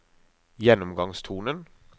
gjennomgangstonen